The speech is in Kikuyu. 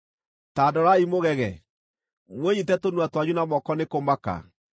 Ta ndorai mũgege; mwĩnyiite tũnua twanyu na moko nĩ kũmaka.